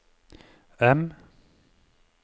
M